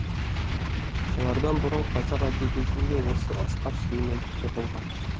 олардан бұрын қазақ әдебиетінде осы асқар сүлейменов те болған